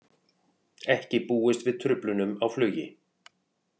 Ekki búist við truflunum á flugi